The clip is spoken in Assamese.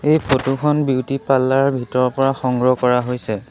এই ফটো খন বিউটি পাৰ্লাৰ ভিতৰৰ পৰা সংগ্ৰহ কৰা হৈছে।